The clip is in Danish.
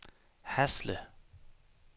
Hasle